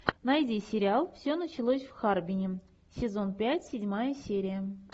найди сериал все началось в харбине сезон пять седьмая серия